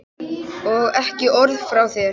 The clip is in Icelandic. Og ekki orð frá þér!